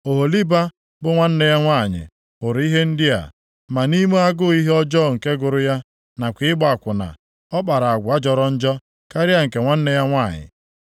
“Oholiba bụ nwanne ya nwanyị hụrụ ihe ndị a, ma nʼime agụụ ihe ọjọọ nke gụrụ ya nakwa ịgba akwụna, ọ kpara agwa jọrọ njọ karịa nke nwanne ya nwanyị.